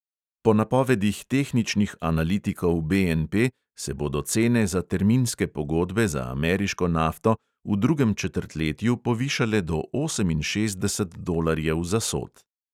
Po napovedih tehničnih analitikov BNP se bodo cene za terminske pogodbe za ameriško nafto v drugem četrtletju povišale do oseminšestdeset dolarjev za sod.